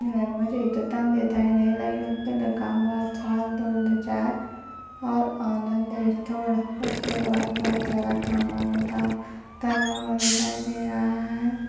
यहा मुझे एक दुकान दिखाई दे रही है उसपे लिखा हुआ है स्वाद गोल्ड चाय और आनंद स्टोर उसके बाद बहुत सारा सामान रखा रखा हुआ दिखाई दे रहा है।